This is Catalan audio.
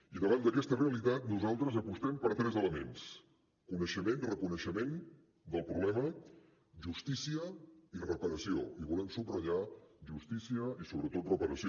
i davant d’aquesta realitat nosaltres apostem per tres elements coneixement reconeixement del problema justícia i reparació i volem subratllar justícia i sobretot reparació